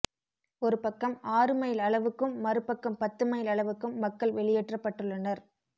ஒரு பக்கம் ஆறு மைல் அளவுக்கும் மறுபக்கம் பத்து மைல் அளவுக்கும் மக்கள் வெளியேற்ற ப்பட்டுள்ளனர்